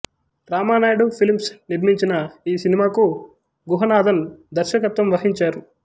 Ramanaidu films నిర్మించిన ఈ సినిమాకు గుహనాథన్ దర్శకత్వం వహించారు